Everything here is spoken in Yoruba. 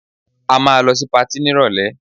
A máa lọ sí patí nírọ̀lẹ́